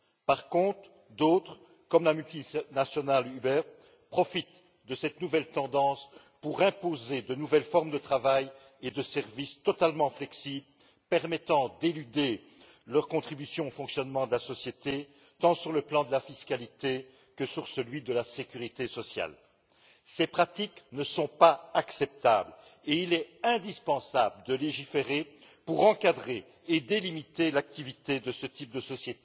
Par contre, d'autres entreprises, comme la multinationale Uber, profitent de cette nouvelle tendance pour imposer de nouvelles formes de travail et de services totalement flexibles, permettant d'éluder leur contribution au fonctionnement de la société, tant sur le plan de la fiscalité que sur celui de la sécurité sociale. Ces pratiques ne sont pas acceptables et il est indispensable de légiférer pour encadrer et délimiter l'activité de ce type d'entreprise